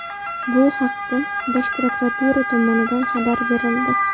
Bu haqda Bosh prokuratura tomonidan xabar berildi .